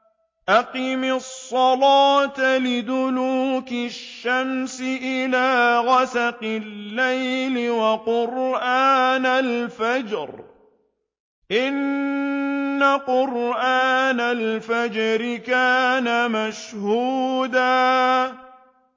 أَقِمِ الصَّلَاةَ لِدُلُوكِ الشَّمْسِ إِلَىٰ غَسَقِ اللَّيْلِ وَقُرْآنَ الْفَجْرِ ۖ إِنَّ قُرْآنَ الْفَجْرِ كَانَ مَشْهُودًا